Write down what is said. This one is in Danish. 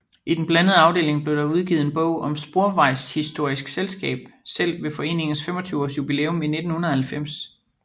I den blandede afdeling blev der udgivet en bog om Sporvejshistorisk Selskab selv ved foreningens 25 års jubilæum i 1990